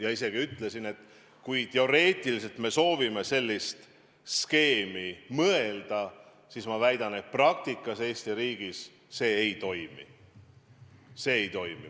Ja veel ütlesin, et isegi kui me teoreetiliselt sooviksime sellist skeemi rakendada, siis ma väidan, et praktikas see Eesti riigis ei toimi.